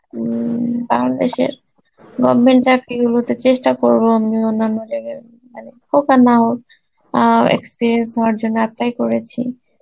উম বাংলাদেশের government চাকরি গুলোতে চেষ্ঠা করব আমি অন্যান্য জায়গায় মানে হোক আর না হোক অ্যাঁ experience হওয়ার জন্যে apply করেছি